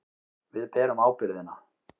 Við berum ábyrgðina.